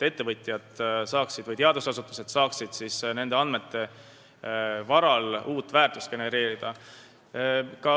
Ettevõtjad ja teadusasutused saaksid siis neid kasutades uut väärtust genereerida.